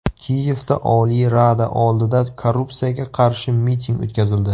Kiyevda Oliy Rada oldida korrupsiyaga qarshi miting o‘tkazildi .